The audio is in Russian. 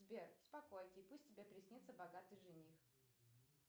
сбер спокойки пусть тебе приснится богатый жених